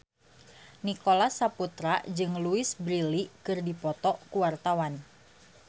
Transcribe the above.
Nicholas Saputra jeung Louise Brealey keur dipoto ku wartawan